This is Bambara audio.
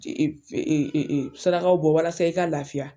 Sarakaw bɔ walasa i ka lafiya.